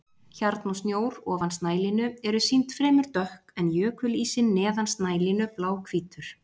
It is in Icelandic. Hjarn og snjór ofan snælínu eru sýnd fremur dökk en jökulísinn neðan snælínu bláhvítur.